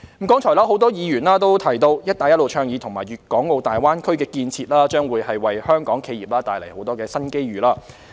剛才多位議員提到，"一帶一路"倡議和粵港澳大灣區建設將會為香港企業帶來很多新機遇。